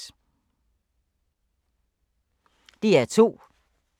DR2